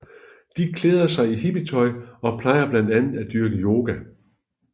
De klæder sig i hippietøj og plejer blandt andet at dyrke yoga